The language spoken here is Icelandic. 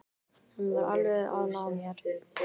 Hann var alveg að ná mér